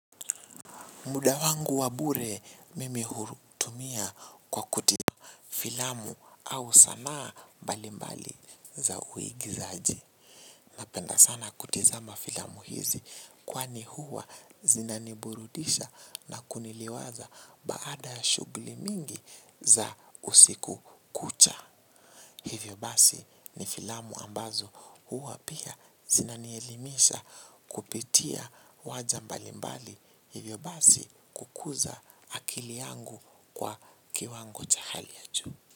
Muda wangu wa bure mimi huitumia kwa kutazama filamu au sana mbalimbali za uigizaji. Napenda sana kutizama filamu hizi kwani huwa zinaniburudisha na kuniliwaza baada shughuli mingi za usiku kucha. Hivyo basi ni filamu ambazo huwa pia zinanielimisha kupitia uwanja mbali mbali hivyo basi kukuza akili yangu kwa kiwango cha hali ya juu.